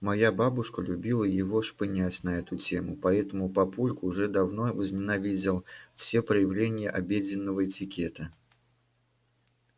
моя бабушка любила его шпынять на эту тему поэтому папульку уже давно возненавидел все проявления обеденного этикета